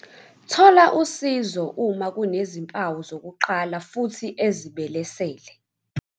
Thola usizo uma kunezimpawu zokuqala futhi ezibelesele.